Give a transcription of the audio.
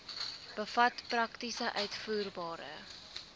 bevat prakties uitvoerbare